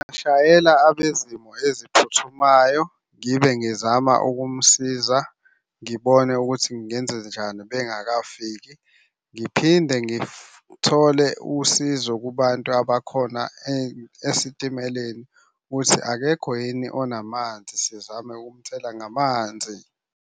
Ngingashayela abezimo eziphuthumayo, ngibe ngizama ukumsiza ngibone ukuthi ngingenzenjani bengakafiki. Ngiphinde ngithole usizo kubantu abakhona esitimeleni ukuthi akekho yini onamanzi, sizame ukumthela ngamanzi.